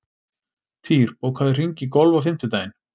Týr, bókaðu hring í golf á fimmtudaginn.